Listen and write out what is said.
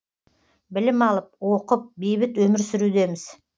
білім алып оқып бейбіт өмір сүрудеміз